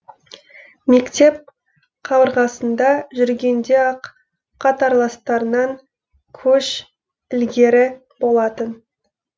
мектеп қабырғасында жүргенде ақ қатарластарынан көш ілгері болатын